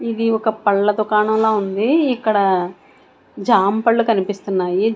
ఇది ఒక పళ్ళ దుకాణంలా ఉంది. ఇక్కడ జాంపళ్ళు కనిపిస్తున్నాయి.